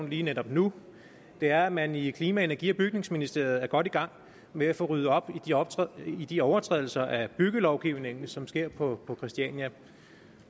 lige netop nu er at man i klima energi og bygningsministeriet er godt i gang med at få ryddet op i de overtrædelser af byggelovgivningen som sker på christiania